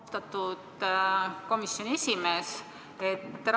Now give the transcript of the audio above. Austatud komisjoni esimees!